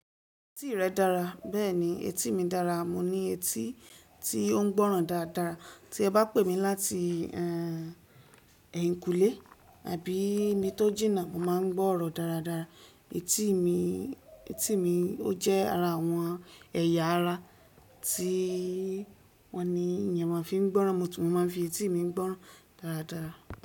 Etí rẹ dára, bẹ́ẹ̀ni etí mi dára, mo ní etí tí ó ń gbọ́ràn dáadáa. Tí ẹ bá pè mí láti, ẹ́ń, ẹ̀yìnkùlé àbí ni tó jìnnà, mo máa ń gbọ́rọ̀ dáadáa. Etí mi, etí mi ó jẹ́ ara àwọn ẹ̀yà ara tí wọ́n ni ènìyàn máa ń fi ń gbọ́ràn, mo tún máa ń fi etí mi ń gbọ́ràn dáadáa.